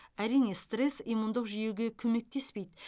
әрине стресс иммундық жүйеге көмектеспейді